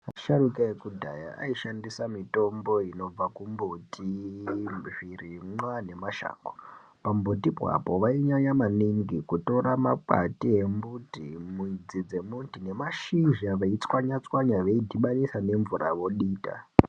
Asharuka ekudhaya ayi shandisa mitombo inobva ku mbuti zvirimwa ne mashonga pa mbuti po apo vai nyanya maningi kutora mwakati embuti mudzi dze mbuti ne mashizha vei tswanya tswanya veidhibanisa ne mvura vodita.